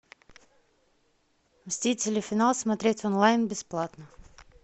мстители финал смотреть онлайн бесплатно